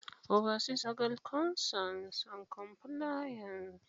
Legal Unit: Oversees legal concerns and compliance.